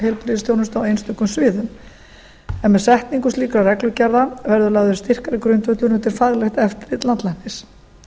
á einstökum sviðum en með setningu slíkra reglugerða verður lagður styrkari grundvöllur undir faglegt eftirlit landlæknis